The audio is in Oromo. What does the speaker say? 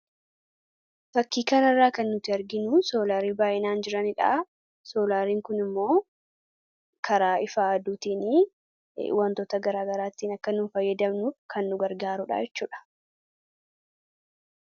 Fakkii kana irraa kan nuti arginu soolaarii baay'inaan jiranidha. Soolaariin kunis immoo karaa ifa aduutiin humna ibsaa maddisiisuudhaan wantoota garaa garaatti akka fayyadamnuuf kan nu gargaarudha